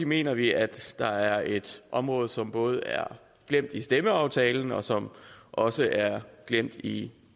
mener vi at der er et område som både er glemt i stemmeaftalen og som også er glemt i